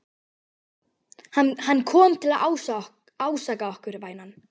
Hann kom til að ásaka okkur, vænan.